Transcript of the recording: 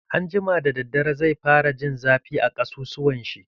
Anjima da daddare, zai fara jin zafi a ƙasussuwan shi.